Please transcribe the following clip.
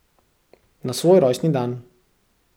Na svoj rojstni dan.